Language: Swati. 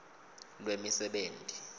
lwemisebenti